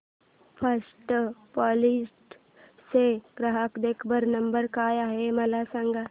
first flight चा ग्राहक देखभाल नंबर काय आहे मला सांग